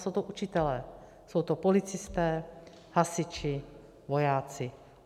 Jsou to učitelé, jsou to policisté, hasiči, vojáci.